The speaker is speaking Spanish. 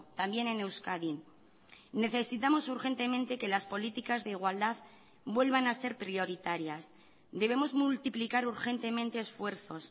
también en euskadi necesitamos urgentemente que las políticas de igualdad vuelvan a ser prioritarias debemos multiplicar urgentemente esfuerzos